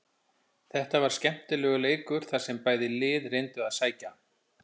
Þetta var skemmtilegur leikur þar sem bæði lið reyndu að sækja.